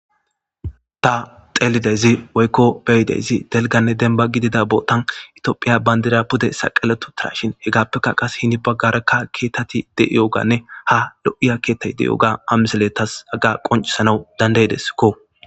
Ta xeellidyssi woykko be'idayssi dalgganne dembba gidida bootan itophphiya bandiray pude saqaletti uttashin hegappekka hen baggara keettati de'iyoganne ha lo'iyo keettay diyoga ha misiley haga qonccisanaw danda'idesko.